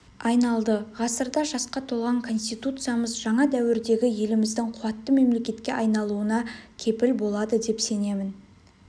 айналды ғасырда жасқа толған конституциямыз жаңа дәуірдегі еліміздің қуатты мемлекетке айналуына кепіл болады деп сенемін